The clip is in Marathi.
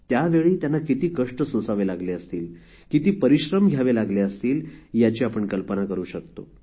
त्यावेळी त्यांना किती कष्ट सोसावे लागले असतील किती परिश्रम घ्यावे लागले असतील याची आपण कल्पना करू शकतो